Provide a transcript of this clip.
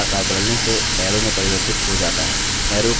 cursor आकार बदलने से arrow में प्रवर्तित हो जाता है